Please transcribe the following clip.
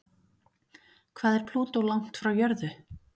Hvað er Plútó langt frá jörðu?